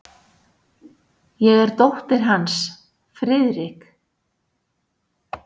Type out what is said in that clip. Ég er dóttir hans, Friðrik.